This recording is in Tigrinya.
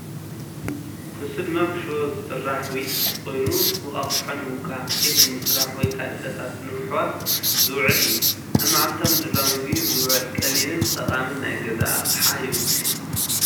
ንሱ ድማ ብሽቦ ዝስራሕ ዊስክ ኮይኑ፡ እንቋቑሖ ንምውቃዕ፡ ኬክ ንምስራሕ ወይ ካልእ ፈሳሲ ንምሕዋስ ዝውዕል እዩ። ኣብ መዓልታዊ ምድላው ምግቢ ዝውዕል ቀሊልን ጠቓምን ናይ ገዛ ኣቕሓ ይውክል፡፡